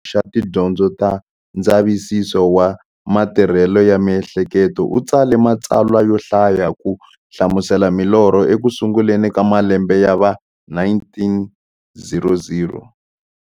Sigmund Freud, loyi a akeke xiphemu xa tidyondzo ta ndzavisiso wa matirhele ya miehleketo, u tsale matsalwa yo hlaya ku hlamusela milorho eku sunguleni ka malembe ya va 1900.